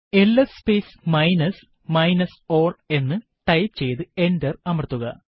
LS space minus minus ആൽ എന്ന് type ചെയ്തു എന്റർ അമർത്തുക